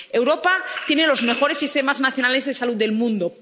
Europa tiene los mejores sistemas nacionales de salud del mundo.